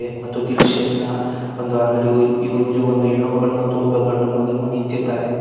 ಮತ್ತು ದಿಲ್ ಶೇಪ್ ನ ಒಂದು ಅಂಗಡಿವು ಇವುಲ್ಲಿ ಒಂದು ಹೆಣ್ಣುಮಗಳು ಮತ್ತು ಒಂದು ಗಂಡುಮಗನು ನಿಂತಿದ್ದಾರೆ.